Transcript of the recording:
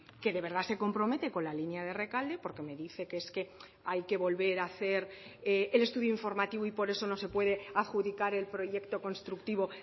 que de verdad se compromete con la línea de rekalde porque me dice que es que hay que volver a hacer el estudio informativo y por eso no se puede adjudicar el proyecto constructivo